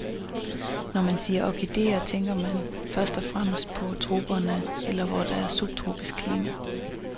Når man siger orkideer, tænker man først og fremmest på troperne eller hvor der er subtropisk klima.